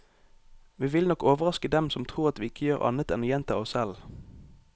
Vi vil nok overraske dem som tror at vi ikke gjør annet enn å gjenta oss selv.